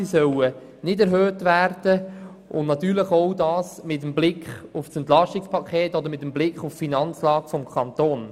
Sie sollen nicht verstärkt werden, auch mit Blick auf das Entlastungspaket sowie auf die Finanzlage des Kantons.